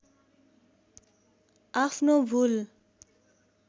आफ्नो भूल